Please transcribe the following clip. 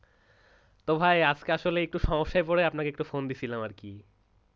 তো ভাই আজকে আসলে একটু সমস্যায় পড়ে আপনাকে phone দিয়েছিলাম আর কি,